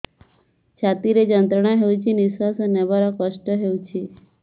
ଛାତି ରେ ଯନ୍ତ୍ରଣା ହେଉଛି ନିଶ୍ଵାସ ନେବାର କଷ୍ଟ ହେଉଛି